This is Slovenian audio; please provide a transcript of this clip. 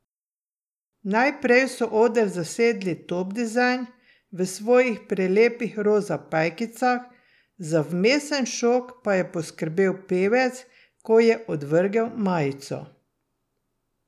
Najprej so oder zasedli Top dizajn, v svojih prelepih roza pajkicah, za vmesen šok pa je poskrbel pevec, ko je odvrgel majico.